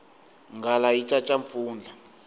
nghala yi caca mpfundla